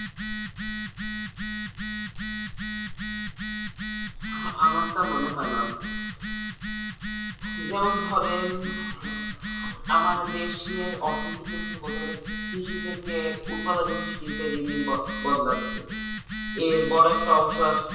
হ্যাঁ আমার তা মনে হয়না যেমন ধরেন আমার দেশের অর্থনীতি কিন্তু বলতে গেলে কৃষি থেকে উৎপাদন গত শিল্পে দিন দিন গ~ বদলাচ্ছে এর বড়ো একটা অংশ